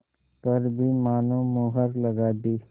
पर भी मानो मुहर लगा दी